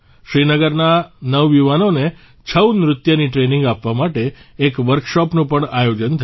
શ્રીનગરના નવયુવાનોને છઉ નૃત્યની ટ્રેનિંગ આપવા માટે એક વર્કશોપનું પણ આયોજન થયું